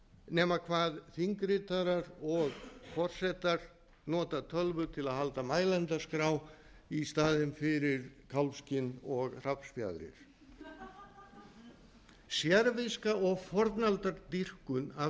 nema hvað þingritarar og forsetar nota tölvu til að halda mælendaskrá í staðinn fyrir kálfskinn og hrafnsfjaðrir sérviska og fornaldardýrkun af